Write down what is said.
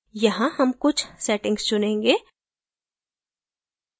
यहाँ हम कुछ settings चुनेंगे